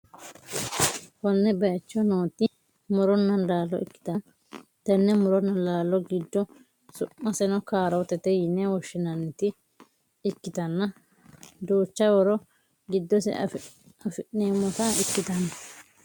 konne bayicho nooti muronna laalo ikkitanna, tenne muronna laalo giddo su'maseno kaarotete yine woshshi'nannita ikkitanna, duucha horo giddose afi'neemmota ikkitanno.